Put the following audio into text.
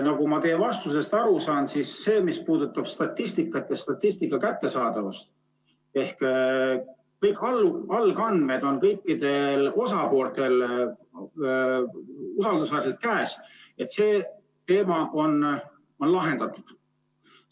Nagu ma teie vastusest aru sain, siis see, mis puudutab statistikat ja statistika kättesaadavust, ehk seda, et kõik algandmed on kõikidel osapooltel usaldusväärselt käes, on lahendatud.